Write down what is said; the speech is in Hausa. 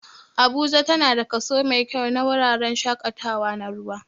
Abuja tana da kaso mai kyau na wuraren shaƙatawa na ruwa